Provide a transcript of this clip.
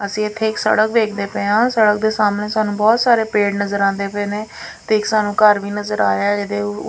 ਅਸੀਂ ਇਥੇ ਇੱਕ ਸੜਕ ਵੇਖਦੇ ਪਏ ਆਂ ਸੜਕ ਦੇ ਸਾਹਮਣੇ ਸਾਨੂੰ ਬਹੁਤ ਸਾਰੇ ਪੇੜ ਨਜ਼ਰ ਆਉਂਦੇ ਪਏ ਨੇ ਤੇ ਇਕ ਸਾਨੂੰ ਘਰ ਵੀ ਨਜ਼ਰ ਆਇਆ ਇਹਦੇ--